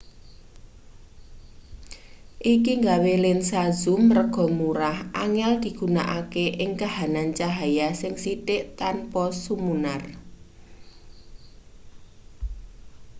iki nggawe lensa zoom rega murah angel digunakake ing kahanan cahya sing sithik tanpa sumunar